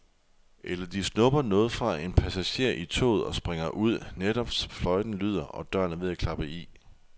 Eller de snupper noget fra en passager i toget og springer ud, netop som fløjten lyder, og døren er ved at klappe i.